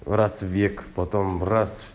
раз в век потом раз